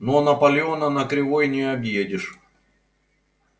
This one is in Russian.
но наполеона на кривой не объедешь